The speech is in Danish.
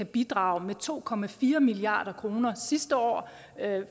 bidrage med to milliard kroner sidste år